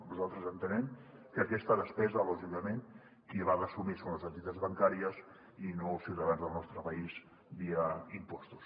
nosaltres entenem que aquesta despesa lògicament qui l’ha d’assumir són les entitats bancàries i no els ciutadans del nostre país via impostos